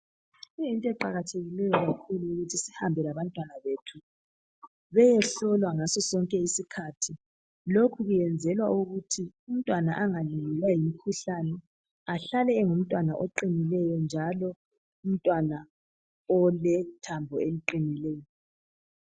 Kuyinto eqakathekileyo kakhulu ukuthi sihambe labantwana bethu beyehlolwa ngaso sonke isikhathi lokhu kwenzelwa ukuthi umntwana engana ngenwa yimikhuhlane ehlale eqinile njalo umntwana olethambo eliqinileyo